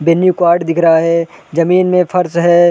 Menu card दिख रहा है ज़मीन में फर्श है।